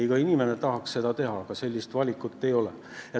Iga inimene tahaks seda teha, aga sellist valikut ei ole.